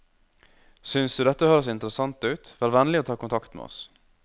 Synes du dette høres interessant ut, vær vennlig å ta kontakt med oss.